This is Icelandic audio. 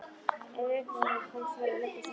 Ef upp um mig komst varð ég að leggjast aftur.